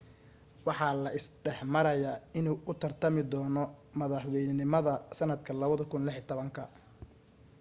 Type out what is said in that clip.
waxaa la isla dhexmarayaa inuu u tartami doono madaxweynenimada sanadka 2016